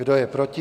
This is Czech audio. Kdo je proti?